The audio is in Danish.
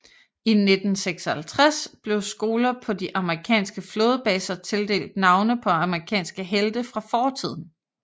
I 1956 blev skoler på de amerikanske flådebaser tildelt navne på amerikanske helte fra fortiden